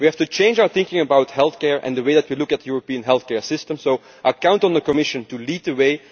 We have to change our thinking about healthcare and the way that we look at European healthcare systems, so I count on the Commission to lead the way.